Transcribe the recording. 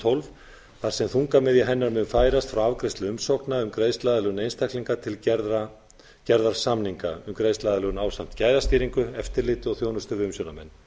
tólf þar sem þungamiðja hennar mun færast frá afgreiðslu umsókna um greiðsluaðlögun einstaklinga til gerðar samninga um greiðsluaðlögun ásamt gæðastýringu eftirliti og þjónustu við umsjónarmenn